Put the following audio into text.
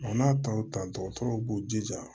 O n'a taw ta dɔgɔtɔrɔw b'u jija